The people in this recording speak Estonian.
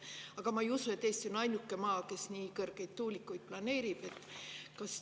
Aga ma ei usu, et Eesti on ainuke maa, kes nii kõrgeid tuulikuid planeerib.